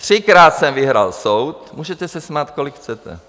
Třikrát jsem vyhrál soud, můžete se smát, kolik chcete.